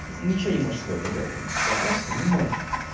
ничего не можешь с собой поделать ну ты стараешься но не можешь